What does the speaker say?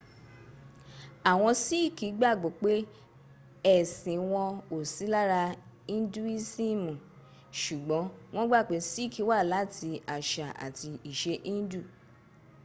àwọn síìkì gbàgbó pé ẹ̀sìn wọn ò sí lára induisimi ṣùgbọ́n wọ́n gbà pé síìkì wá láti àṣà àti ìṣe indù